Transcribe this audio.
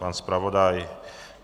Pan zpravodaj?